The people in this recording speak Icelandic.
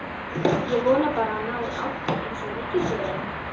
Ég vona bara að hann nái áttum einsog ríkisstjórnin.